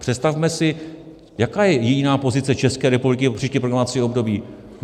Představme si, jaká je jiná pozice České republiky pro příští programovací období?